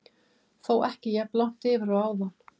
Þó ekki jafn langt yfir og áðan.